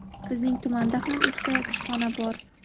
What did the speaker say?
Bizning tumanda ham ikkita kushxona bor.